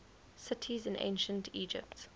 cities in ancient egypt